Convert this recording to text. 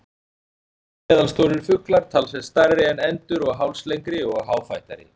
Gæsir eru meðalstórir fuglar, talsvert stærri en endur og hálslengri og háfættari.